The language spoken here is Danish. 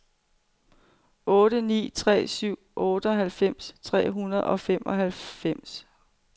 otte ni tre syv otteoghalvfems tre hundrede og femoghalvfems